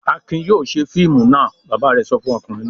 "Akin yóò ṣe fíìmù náà!" Bàbá rẹ̀ sọ fún ọkùnrin náà.